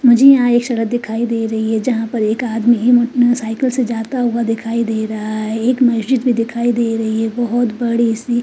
मुझे यहाँ एक सडक दिखाई दे रही हैं जहाँ पर एक आदमी साइकिल से जाता हुआ दिखाई दे रहा हैं एक मज्जित भी दिखाई दे रही हैं बहुत बड़ी सी --